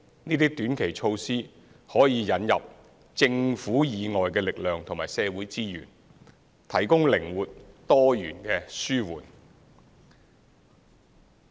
這些短期措施可以引入政府以外的力量和社會資源，提供靈活、多元的紓緩。